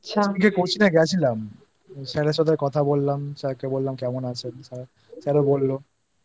Sir এর সাথে কথা বললাম Sir কে বললাম কেমন আছেন? বলল Sir